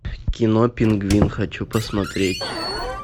кино пингвин хочу посмотреть